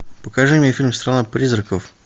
покажи мне фильм страна призраков